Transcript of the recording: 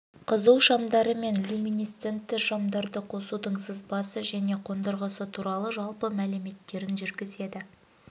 қызу шамдары және люминесцентті шамдарды қосудың сызбасы және қондырғысы туралы жалпы мәліметтерін жүргізеді